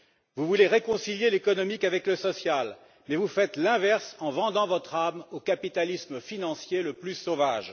Vous voulez réconcilier l'économique avec le social, mais vous faites l'inverse en vendant votre âme au capitalisme financier le plus sauvage.